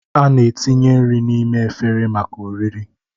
A na-etinye nri n'ime efere maka oriri.